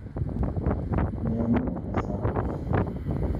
Meenyu esaa oltung'ani